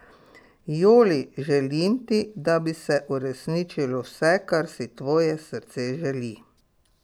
Joli, želim ti, da bi se uresničilo vse, kar si tvoje srce želi.